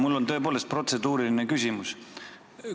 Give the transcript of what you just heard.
Mul on tõepoolest protseduuriline küsimus.